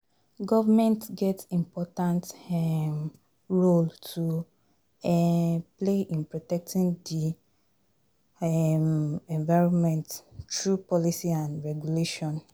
Government get important um role to um play in protecting di um environment through policy and regulation.